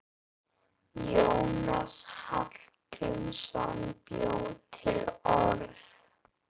Jónas Hallgrímsson bjó til orð.